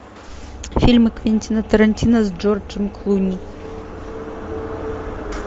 фильмы квентина тарантино с джорджем клуни